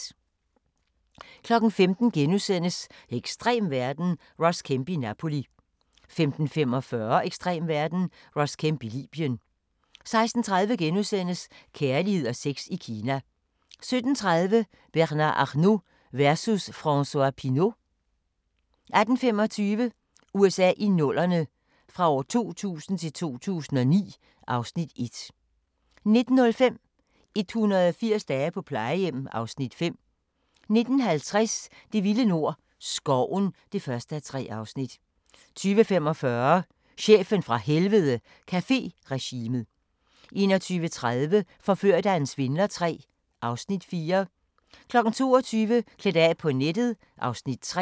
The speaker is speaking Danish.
15:00: Ekstrem verden – Ross Kemp i Napoli * 15:45: Ekstrem verden – Ross Kemp i Libyen 16:30: Kærlighed og sex i Kina * 17:30: Bernard Arnault versus François Pinault 18:25: USA i 00'erne – fra 2000 til 2009 (Afs. 1) 19:05: 180 dage på plejehjem (Afs. 5) 19:50: Det vilde nord - Skoven (1:3) 20:45: Chefen fra Helvede - Caféregimet 21:30: Forført af en svindler III (Afs. 4) 22:00: Klædt af på nettet (Afs. 3)